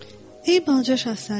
Ey balaca şahzadə.